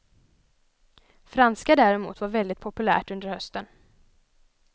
Franska däremot var väldigt populärt under hösten.